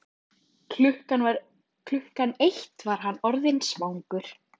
Klukkan eitt var hann orðinn svangur.